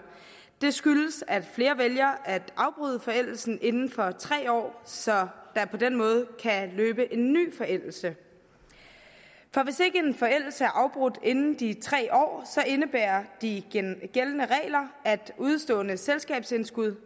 det skyldes at flere vælger at afbryde forældelsen inden for tre år så der på den måde kan løbe en ny forældelse for hvis ikke en forældelse er afbrudt inden de tre år indebærer de gældende regler at et udestående selskabsindskud